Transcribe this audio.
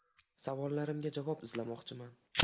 Savollarimga javob izlamoqchiman.